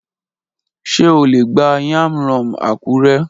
Ṣe o le gba Yam rom Akure?